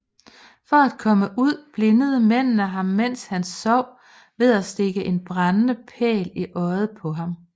For at komme ud blindede mændene ham mens han sov ved at stikke en brændende pæl i øjet på ham